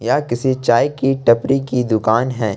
यह किसी चाय की टपरी की दुकान है।